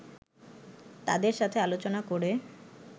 তাদের সাথে আলোচনা করে